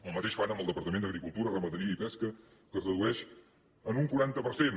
el mateix fan amb el departament d’agricultura ramaderia i pesca que es redueix en un quaranta per cent